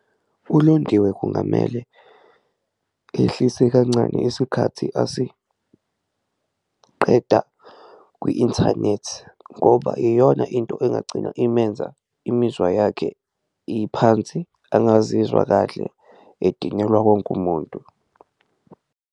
ULondiwe kungamele ehlise kancane isikhathi asiqeda kwi-inthanethi ngoba iyona into engagcina imenza imizwa yakhe iphansi, angazizwa kahle, edinelwa wonke umuntu.